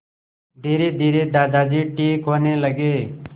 धीरेधीरे दादाजी ठीक होने लगे